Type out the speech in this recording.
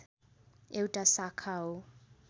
एउटा शाखा हो